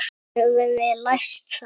Höfum við lært það?